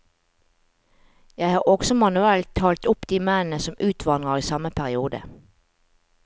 Jeg har også manuelt talt opp de mennene som utvandrer i samme periode.